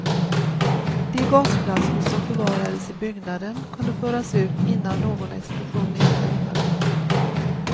De gasflaskor som förvarades i byggnaden kunde föras ut innan någon explosion inträffade.